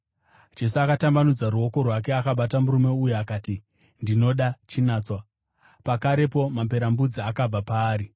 Jesu akatambanudza ruoko rwake akabata murume uyu akati, “Ndinoda, chinatswa!” Pakarepo maperembudzi akabva paari.